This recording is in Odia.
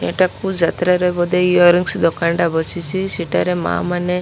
ଏଇଟାକୁ ଯାତ୍ରାରେ ବୋଧେ ଇୟରିଙ୍ଗିସ୍ ଦୋକାନଟା ବସିଛି ସେଠାରେ ମା ମାନେ --